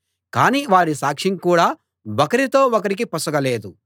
కాని వారి సాక్ష్యం కూడా ఒకరితో ఒకరికి పొసగలేదు